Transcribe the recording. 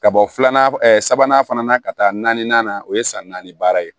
Ka bɔ filanan sabanan fana na ka taa naaninan na o ye san naani baara ye